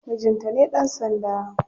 Mijinta ne dan sanda.